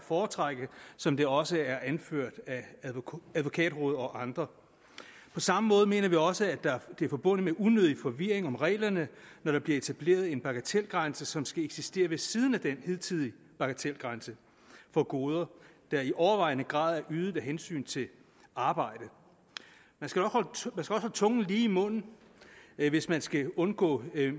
foretrække som det også er anført af advokatrådet og andre på samme måde mener vi også at det er forbundet med unødig forvirring om reglerne når der bliver etableret en bagatelgrænse som skal eksistere ved siden af den hidtidige bagatelgrænse for goder der i overvejende grad er ydet af hensyn til arbejdet man skal nok holde tungen lige i munden hvis man skal undgå